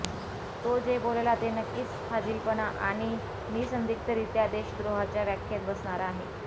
तो जे बोलला ते नक्कीच फाजिलपणा आणि निःसंदिग्धरित्या देशद्रोहाच्या व्याख्येत बसणारं आहे